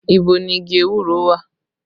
Ibo ni igi ewúro wà?